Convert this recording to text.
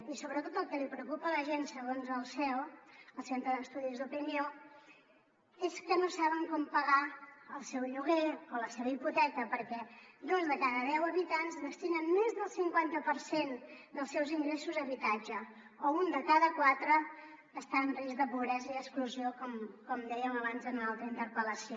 i sobretot el que li preocupa a la gent segons el ceo el centre d’estudis d’opinió és que no saben com pagar el seu lloguer o la seva hipoteca perquè dos de cada deu habitants destinen més del cinquanta per cent dels seus ingressos a habitatge o un de cada quatre està en risc de pobresa i exclusió com dèiem abans en una altra interpel·lació